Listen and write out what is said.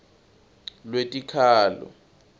lwetikhalo